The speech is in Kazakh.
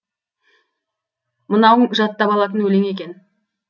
мынауың жаттап алатын өлең екен